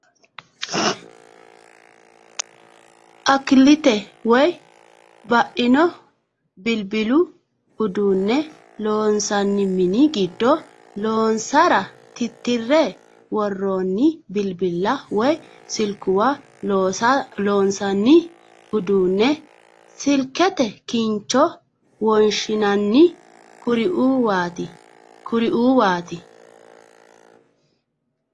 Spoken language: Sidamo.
Akkaliti woy ba'ino bilbilu uduunne loonsanni mini giddo loonsara tittirre worroonni bilbilla woy silkuwa, loonsanni uduunne silkete kincho wonshinanni kirruwaati.